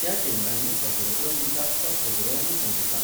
त्या केंद्रांनी अग्रक्रम दितात तो खबरो आनी संगीताक.